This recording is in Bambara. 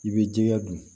I bɛ jɛgɛ dun